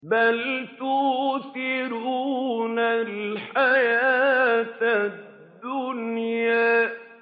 بَلْ تُؤْثِرُونَ الْحَيَاةَ الدُّنْيَا